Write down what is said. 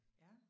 Ja